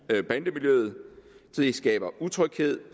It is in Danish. skaber utryghed